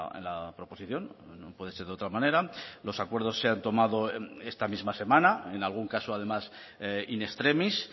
en la proposición no puede ser de otra manera los acuerdos se han tomado esta misma semana en algún caso además in extremis